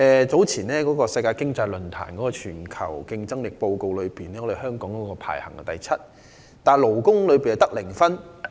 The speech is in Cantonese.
在世界經濟論壇早前發表的全球競爭力報告中，香港排名第七，但勞工方面的得分是零分。